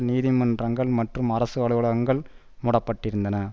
நீதிமன்றங்கள் மற்றும் அரசு அலுவலகங்கள் மூடப்பட்டிருந்தன